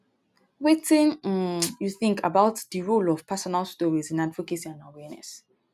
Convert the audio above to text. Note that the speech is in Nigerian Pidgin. wetin um you think about di role of personal stories in advocacy and awareess?